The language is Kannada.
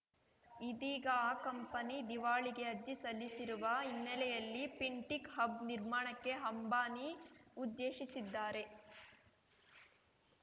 ಇದೀಗ ಆ ಕಂಪನಿ ದಿವಾಳಿಗೆ ಅರ್ಜಿ ಸಲ್ಲಿಸಿರುವ ಹಿನ್ನೆಲೆಯಲ್ಲಿ ಫಿನ್‌ಟಿಕ್‌ ಹಬ್‌ ನಿರ್ಮಾಣಕ್ಕೆ ಹಂಬಾನಿ ಉದ್ದೇಶಿಸಿದ್ದಾರೆ